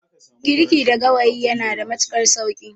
Girki da gawayi yanada matuƙar sauƙi.